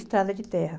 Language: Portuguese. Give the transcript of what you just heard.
Estrada de terra.